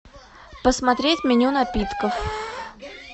посмотреть меню напитков